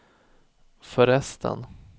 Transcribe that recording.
förresten